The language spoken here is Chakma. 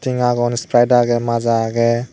aagon sprite aage maaza aage.